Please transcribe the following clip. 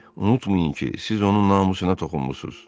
Unutmayın ki, siz onun namusuna toxunmusuz.